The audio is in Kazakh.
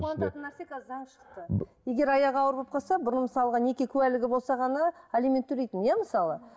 қуантатын нәрсе қазір заң шықты егер аяғы ауыр болып қалса бұрын мысалға неке куәлігі болса ғана алимент төлейтін иә мысалы